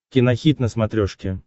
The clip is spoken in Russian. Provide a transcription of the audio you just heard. кинохит на смотрешке